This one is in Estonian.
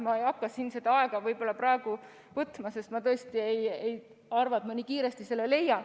Ma ei hakka siin seda aega võib-olla praegu võtma, sest ma tõesti ei arva, et ma nii kiiresti selle leiaksin.